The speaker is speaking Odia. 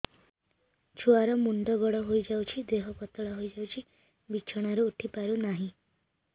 ଛୁଆ ର ମୁଣ୍ଡ ବଡ ହୋଇଯାଉଛି ଦେହ ପତଳା ହୋଇଯାଉଛି ବିଛଣାରୁ ଉଠି ପାରୁନାହିଁ